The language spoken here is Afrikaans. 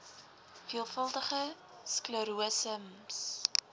veelvuldige sklerose ms